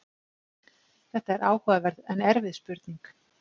þetta er áhugaverð en erfið spurning